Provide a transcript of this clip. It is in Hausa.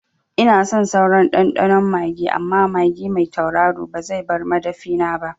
Ina son sauran ɗanɗano magi amma magi mai tauraro ba zai bar madafina ba